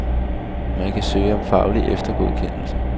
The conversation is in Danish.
Man kan søge om faglig eftergodkendelse.